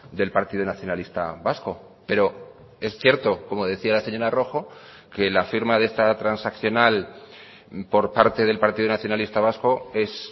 del partido nacionalista vasco pero es cierto como decía la señora rojo que la firma de esta transaccional por parte del partido nacionalista vasco es